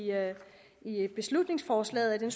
beslutningsforslaget at